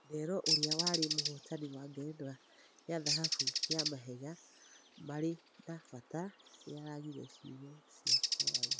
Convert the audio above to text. Ndero ũria warĩ mũhotani wa ngerenwa ya thahabu ya Mahenya marĩ na Batĩ nĩaragire ciugo cia kwaria.